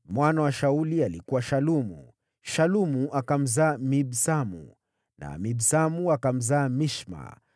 Mwana wa Shauli alikuwa Shalumu, Shalumu akamzaa Mibsamu, na Mibsamu akamzaa Mishma.